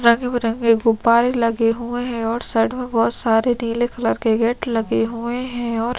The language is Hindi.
रंग-बिरंगे गुब्बारे लगे हुए है और साइड में बहोत सारे नीले कलर गेट लगे हुए है और--